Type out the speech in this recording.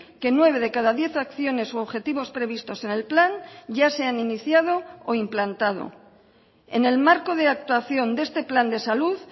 que nueve de cada diez acciones u objetivos previstos en el plan ya se han iniciado o implantado en el marco de actuación de este plan de salud